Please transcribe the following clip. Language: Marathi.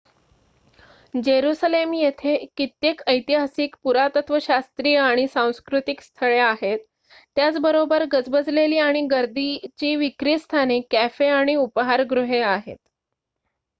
जेरुसलेम येथे कित्येक ऐतिहासिक पुरातत्वशास्त्रीय आणि सांस्कृतिक स्थळे आहेत त्याच बरोबर गजबजलेली आणि गर्दीची विक्री स्थाने कॅफे आणि उपाहारगृहे आहेत